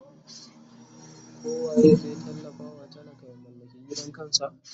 ko waye zai tallafa wa talaka ya mallaki gidan kansa?